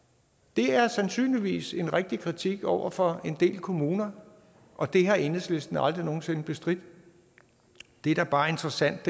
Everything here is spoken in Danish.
det er sandsynligvis en rigtig kritik over for en del kommuner og det har enhedslisten aldrig nogen sinde bestridt det der bare er interessant